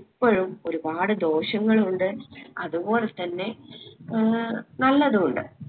ഇപ്പൊഴും ഒരുപാട് ദോഷങ്ങളുണ്ട് അത് പൊൽത്തന്നെ ഏർ നല്ലതു ഇണ്ട്